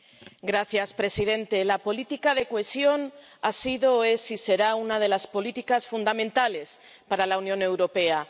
Señor presidente, la política de cohesión ha sido, es y será una de las políticas fundamentales para la Unión Europea.